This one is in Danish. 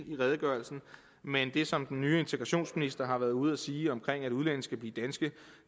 i redegørelsen men det som den nye integrationsminister har været ude at sige om at udlændinge skal blive danske